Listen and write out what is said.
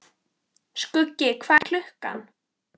Skuggi, hvað er klukkan?